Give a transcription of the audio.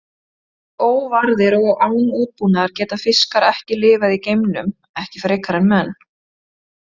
Óvarðir og án útbúnaðar geta fiskar ekki lifað í geimnum, ekki frekar en menn.